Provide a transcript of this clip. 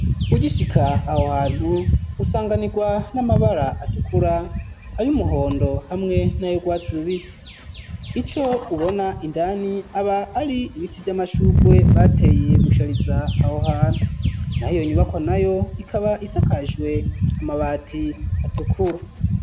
Ugishika aho hantu usanganirwa n'amabara atukura ayo umuhondo hamwe nayo gwatsubise ico ubona indani aba ari ibiti vy'amashugwe bateye gushariza aho hantu na hiyo nyubako nayo ikaba isakajwe amabati atukura.